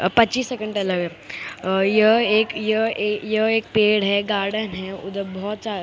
अह पच्चीस सेकंड डला है अह यह एक यह ए यह एक पेड़ है गार्डन है उधर बहुत सा--